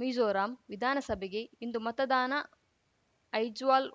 ಮಿಜೋರಾಂ ವಿಧಾನಸಭೆಗೆ ಇಂದು ಮತದಾನ ಐಜ್ವಾಲ್‌